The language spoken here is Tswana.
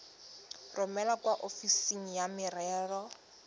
romele kwa ofising ya merero